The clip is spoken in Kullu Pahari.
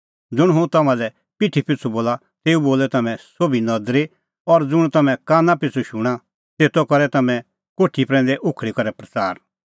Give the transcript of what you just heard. ज़ुंण हुंह तम्हां लै पिठी पिछ़ू बोला तेऊ बोलै तम्हैं सोभी नदरी और ज़ुंण तम्हैं काना पिछ़ू शूणां तेतो करै तम्हैं कोठी प्रैंदै उखल़ी करै प्रच़ार